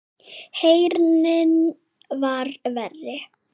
Heyrnin var verri.